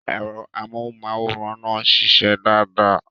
Ẹ̀rọ amóhùnmáwòrán náà ń ṣiṣẹ́ dáadáa.